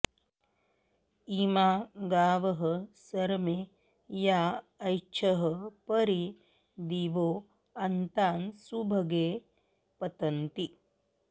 इमा गावः सरमे या ऐच्छः परि दिवो अन्तान्सुभगे पतन्ती